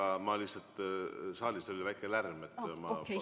Aga ma lihtsalt saalis oli väike lärm.